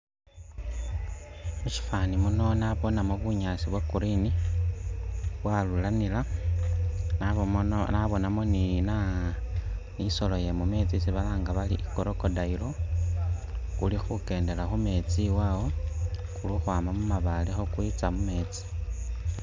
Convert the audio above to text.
Mushifani muno nabonemo bunyaasi bwa green bwaruranila nabu nabonemo ni nisolo yemumeetsi isi balanga bari i'crocodile Kuli khukendela khumeetsi awo kuli khukhwama mumabaale kwitsa mumeetsi